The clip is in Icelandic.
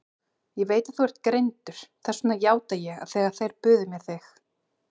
Ég veit að þú ert greindur, þess vegna játaði ég þegar þeir buðu mér þig.